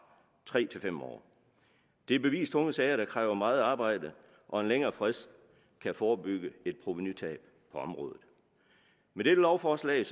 tre til fem år det er bevist tunge sager der kræver meget arbejde og en længere frist kan forebygge et provenutab på området med dette lovforslag